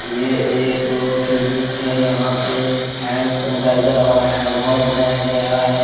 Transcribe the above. ये एक क्लीनिक है यहां पे हैंड सेनीटाइजर और हैंड वॉश बनाया गया है।